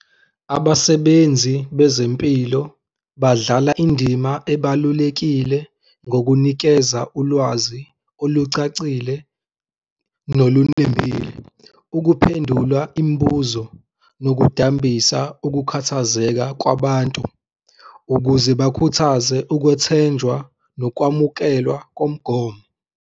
Abasebenzi bezempilo badlala indima ebalulekile ngokunikeza ulwazi olucacile nolunembile, ukuphendula imibuzo nokudambisa ukukhathazeka kwabantu ukuze bakhuthaze ukwethenjwa nokwamukelwa komgomo.